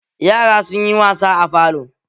Yaran sun yi wasa a falo